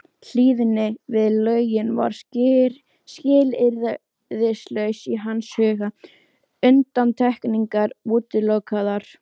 Hlýðni við lögin var skilyrðislaus í hans huga, undantekningar útilokaðar.